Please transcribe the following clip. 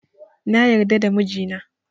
Na yarda da mijina